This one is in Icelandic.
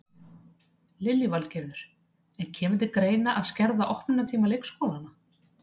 Lillý Valgerður: En kemur til greina að skerða opnunartíma leikskólana?